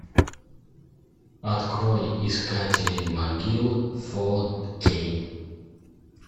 открой искатели могил фо кей